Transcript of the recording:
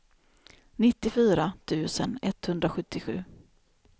nittiofyra tusen etthundrasjuttiosju